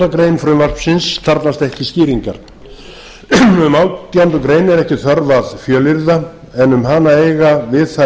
sautjándu grein frumvarpsins þarfnast ekki skýringar um átjándu grein er ekki þörf að fjölyrða en um hana eiga við þær